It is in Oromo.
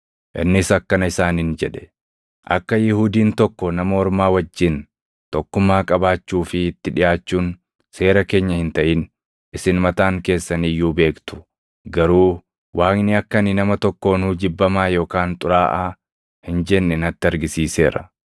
Innis akkana isaaniin jedhe; “Akka Yihuudiin tokko nama ormaa wajjin tokkummaa qabaachuu fi itti dhiʼaachuun seera keenya hin taʼin isin mataan keessan iyyuu beektu; garuu Waaqni akka ani nama tokkoonuu jibbamaa yookaan xuraaʼaa hin jenne natti argisiiseera.